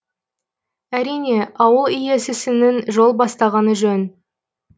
әрине ауыл иесісінің жол бастағаны жөн